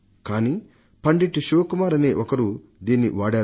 కానీ పండిట్ శివకుమార్ అనే ఆయన దీన్ని వాడారు